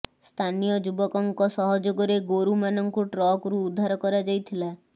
ସ୍ଥାନୀୟ ଯୁବକଙ୍କ ସହଯୋଗରେ ଗୋରୁ ମାନଙ୍କୁ ଟ୍ରକରୁ ଉଦ୍ଧାର କରା ଯାଇଥିଲା